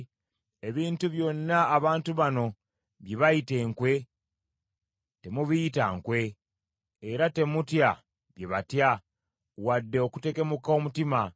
“Ebintu byonna abantu bano bye bayita enkwe, temubiyita nkwe, era temutya bye batya, wadde okutekemuka omutima.